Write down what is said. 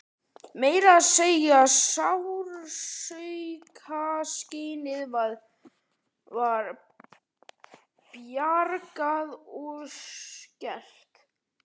Meira að segja sársaukaskynið var bjagað og skert.